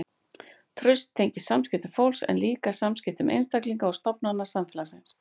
Traust tengist samskiptum fólks en líka samskiptum einstaklinga og stofnana samfélagsins.